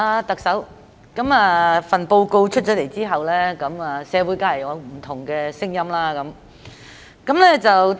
特首，這份施政報告出來後，社會當然會有不同的聲音。